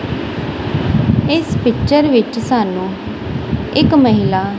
ਇੱਸ ਪਿਕਚਰ ਵਿੱਚ ਸਾਨੂੰ ਇੱਕ ਮਹਿਲਾ--